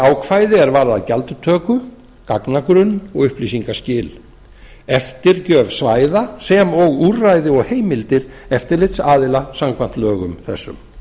ákvæði er varðar gjaldtöku gagnagrunn og upplýsingaskil eftirgjöf svæða sem og úrræði og heimildir eftirlitsaðila samkvæmt lögum þessum